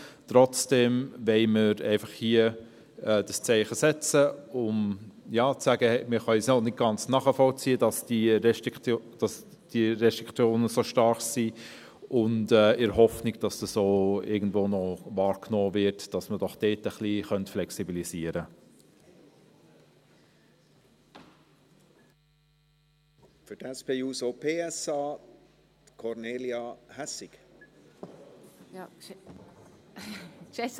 Trotzdem wollen wir hier einfach dieses Zeichen setzen, um zu sagen: Wir können es noch nicht ganz nachvollziehen, dass diese Restriktionen so stark sind, in der Hoffnung, dass es irgendwo noch wahrgenommen wird, dass man doch dort ein wenig flexibilisieren könnte.